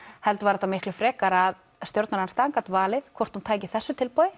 heldur var þetta miklu frekar að stjórnarandstaðan gat valið hvort hún tæki þessu tilboði